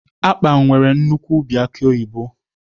Akpan nwere nnukwu ubi aki oyibo